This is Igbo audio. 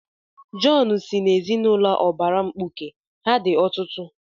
Jọn si n'ezinụlọ ụbara mkpuke, ha dị ọtụtụ.